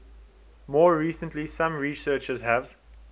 more recently some researchers have